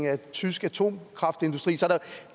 af den tyske atomkraftindustri